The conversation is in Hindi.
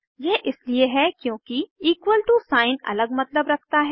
यह इसलिए है क्योंकि इक्वल टो साइन अलग मतलब रखता है